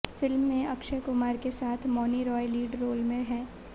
film में अक्षय कुमार के साथ मौनी रॉय लीड रोल में हैं